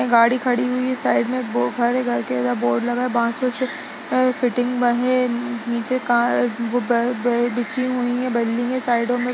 गाड़ी खड़ी हुई है साइड बो एक घर है। घर के अंदर बोर्ड लगा है बासों से अ फिटिंग बाहें नीचे का वो बे बिछी हुई हैं बल्ली है साइडों में --